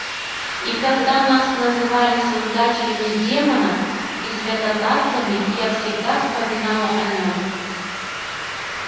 и когда нас называли создателями демонов и святотатцами я всегда вспоминала о нём